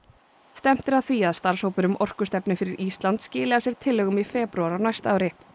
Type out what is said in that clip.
stefnt er að því að starfshópur um orkustefnu fyrir Ísland skili af sér tillögum í febrúar á næsta ári